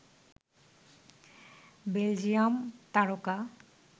Belgium তারকা